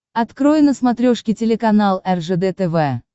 открой на смотрешке телеканал ржд тв